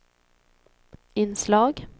inslag